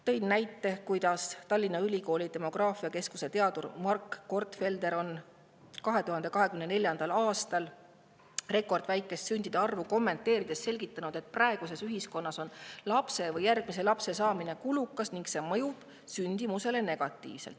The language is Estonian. Tõin näite, kuidas Tallinna Ülikooli demograafiakeskuse teadur Mark Gortfelder on 2024. aastal rekordväikest sündide arvu kommenteerides selgitanud, et praeguses ühiskonnas on lapse või järgmise lapse saamine kulukas ning see mõjub sündimusele negatiivselt.